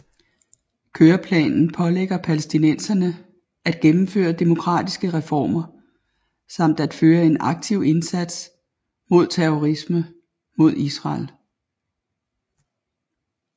Køreplanen pålægger palæstinenserne at gennemføre demokratiske reformer samt at føre en aktiv indsats mod terrorisme mod Israel